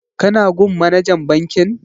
Ka na gun manajan bankin?